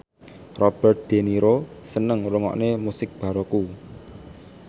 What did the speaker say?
Robert de Niro seneng ngrungokne musik baroque